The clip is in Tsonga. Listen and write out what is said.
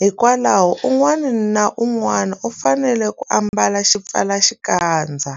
hikwalaho un'wana na un'wana u fanele ku ambala xipfalaxikandza.